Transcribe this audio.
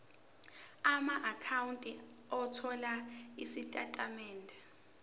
amaakhawunti othola izitatimende